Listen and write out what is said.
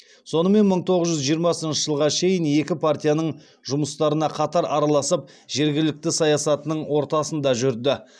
сонымен мың тоғыз жүз жиырмасыншы жылға шейін екі партияның жұмыстарына қатар араласып жергілікті саясатының ортасында жүрді